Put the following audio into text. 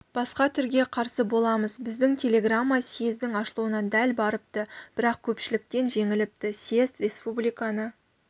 басқа түрге қарсы боламыз біздің телеграмма съездің ашылуына дәл барыпты бірақ көпшіліктен жеңіліпті съезд республиканы